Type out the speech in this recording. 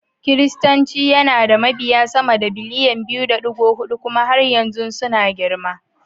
Kiristanci yana da mabiya sama da biliyan 2.4 kuma har yanzu suna girma.